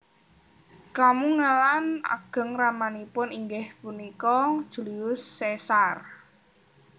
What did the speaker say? Kamungelan ageng ramanipun inggih punika Julius Caesar